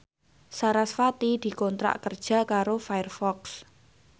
sarasvati dikontrak kerja karo Firefox